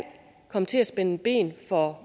komme til at spænde ben for